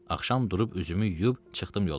Axşam durub üzümü yuyub çıxdım yola.